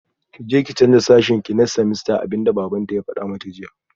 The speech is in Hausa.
Kije ki canza sashenki next semester abinda babanta ya fada mata jiya